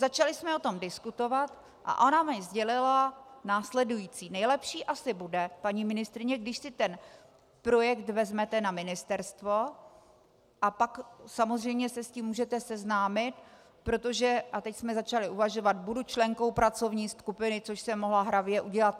Začaly jsme o tom diskutovat a ona mi sdělila následující: Nejlepší asi bude, paní ministryně, když si ten projekt vezmete na ministerstvo, a pak samozřejmě se s tím můžete seznámit, protože - a teď jsme začaly uvažovat - budu členkou pracovní skupiny, což jsem mohla hravě udělat.